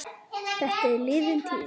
Þetta er liðin tíð.